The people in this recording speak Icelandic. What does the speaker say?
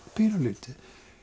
pínulítið